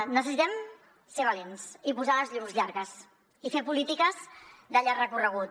necessitem ser valents i posar els llums llargs i fer polítiques de llarg recorregut